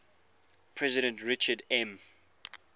president richard m